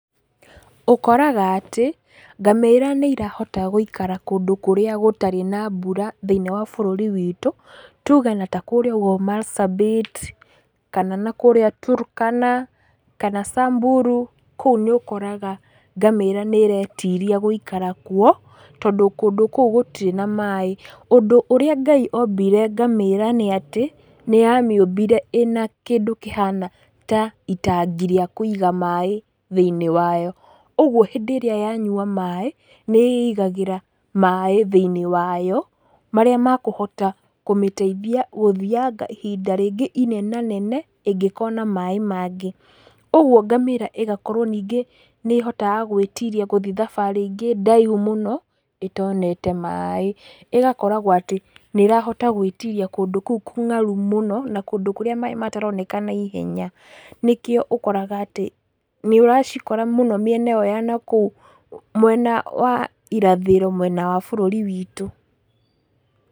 Ũkoraga atĩ ngamĩra nĩ irahota gũikara kũndũ kũrĩa gũtarĩ na mbura thĩiniĩ wa bũrũri witũ, tuge na takũrĩa ũguo Marsabit, kana na kũrĩa Turkana kana Samburu, kũu nĩ ũkoraga ngamĩra nĩ iretiria gũikara kũo, tondũ kũu gũtirĩ na maĩ. Ũndũ ũrĩa Ngai ombire ngamĩra nĩ atĩ, nĩ amĩũmbire ĩna kĩndũ kĩhana ta itagi rĩa kũiga maĩ thĩiniĩ wayo, ũgũo hĩndĩ ĩrĩa yanyua maĩ nĩ ĩigagĩra maĩ thĩinĩ wayo marĩa makũhota kũmĩteithia gũthianga na ihinda rĩngĩ inena nene ĩngĩkona maĩ mangĩ ,ũguo ngamĩra ĩgakorwo ningĩ nĩ ĩhotaga gwĩtiria gũthiĩ thabarĩ ĩngĩ ndaihu mũno ĩtonete maĩ ĩgakoragwo atĩ nĩ ĩrahota gũĩtiria kũndũ kũu kũngaru mũno na kũndũ kũrĩa maĩ mataroneka na ihenya, nĩkĩo ũkoraga atĩ nĩ ũracikora mũno mĩena ĩyo ya nakũu mwena wa irathĩro mwena wa bũrũri witũ.